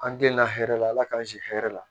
An den lahɛrɛla ala k'an si hɛrɛ la